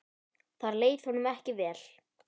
Þar leið honum ekki vel.